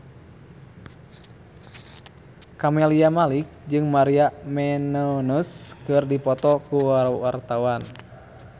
Camelia Malik jeung Maria Menounos keur dipoto ku wartawan